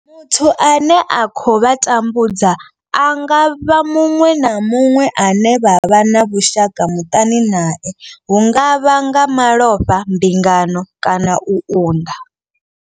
Muthu ane a khou vha tambudza a nga vha muṅwe na muṅwe ane vha vha na vhushaka muṱani nae hu nga vha nga malofha, mbingano kana u unḓa.